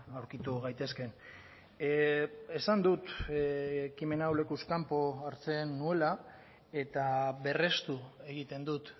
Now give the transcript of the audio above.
aurkitu gaitezkeen esan dut ekimen hau lekuz kanpo hartzen nuela eta berrestu egiten dut